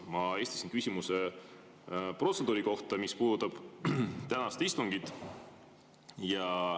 Ma esitasin küsimuse protseduuri kohta, mis puudutab tänast istungit.